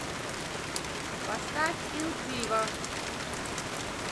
поставь ил диво